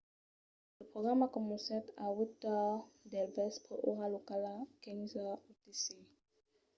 lo programa comencèt a 8:30 del vèspre ora locala 15:00 utc